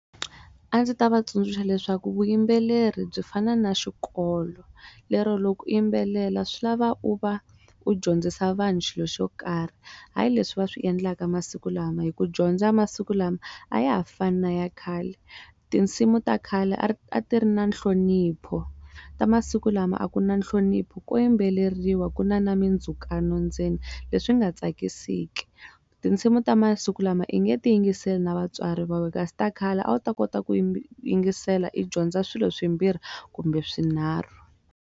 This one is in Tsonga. A ndzi ta va tsundzuxa leswaku vuyimbeleri byi fana na xikolo lero loko i yimbelela swi lava u va u dyondzisa vanhu xilo xo karhi hayi leswi va swi endlaka masiku lama hi ku dyondza masiku lama a ya ha fani na ya khale tinsimu ta khale a ti ri na nhlonipho ta masiku lama a ku na nhlonipho ko yimbeleriwa ku na na mindzhukano ndzeni leswi nga tsakisiki, tinsimu ta masiku lama i nge ti yingiseli na vatswari va we kasi ta khale a wu ta kota ku yingisela i dyondza swilo swimbirhi kumbe swinharhu.